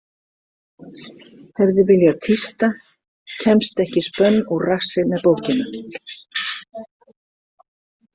Hefði viljað tísta: Kemst ekki spönn úr rassi með bókina.